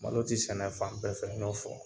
Malo tɛ sɛnɛ fan bɛɛ fɛ n y'o fɔ